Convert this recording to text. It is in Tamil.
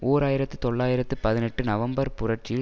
ஓர் ஆயிரத்தி தொள்ளாயிரத்து பதினெட்டு நவம்பர் புரட்சியில்